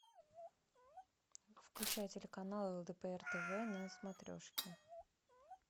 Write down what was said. включай телеканал лдпр тв на смотрешке